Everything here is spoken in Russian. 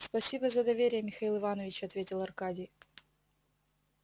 спасибо за доверие михаил иванович ответил аркадий